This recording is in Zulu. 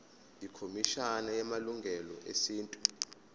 ikhomishana yamalungelo esintu